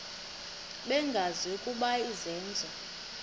bengazi ukuba izenzo